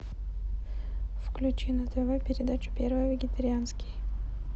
включи на тв передачу первый вегетарианский